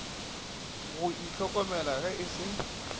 go ihlokomela ge e se